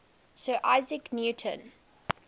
sir isaac newton